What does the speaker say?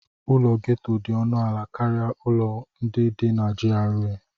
Ụlọ gétò dị ọnụ ala karịa ụlọ ndị dị na GRA